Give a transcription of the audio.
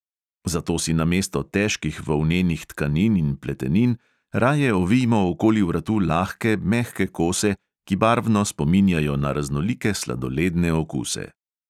Zato si namesto težkih volnenih tkanin in pletenin raje ovijmo okoli vratu lahke, mehke kose, ki barvno spominjajo na raznolike sladoledne okuse.